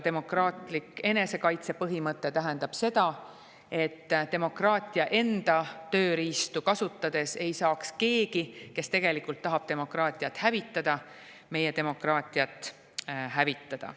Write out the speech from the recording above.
Demokraatia enesekaitse põhimõte tähendab seda, et demokraatia enda tööriistu kasutades ei saaks keegi, kes tegelikult tahab demokraatiat hävitada, meie demokraatiat hävitada.